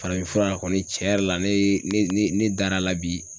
Farafinfura kɔni cɛn yɛrɛ la ne ne ne dar'a la bi.